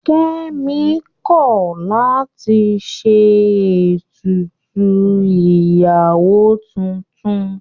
Kẹ́mi kọ̀ láti ṣe ètùtù ìyàwó tuntun.